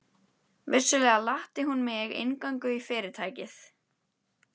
Vissulega latti hún mig inngöngu í Fyrirtækið.